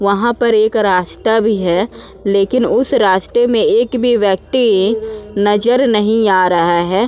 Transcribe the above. वहाँ पर एक रास्ता भी है। लेकिन उस रास्ते में एक भी व्यक्ति नजर नहीं आ रहा है।